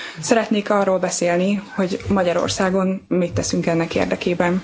Szeretnék arról beszélni, hogy Magyarországon mit teszünk ennek érdekében.